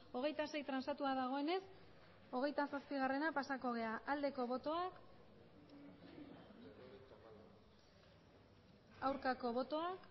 hogeita sei transatua dagoenez hogeita zazpiera pasako gara aldeko botoak aurkako botoak